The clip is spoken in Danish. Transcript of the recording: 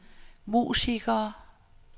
musikere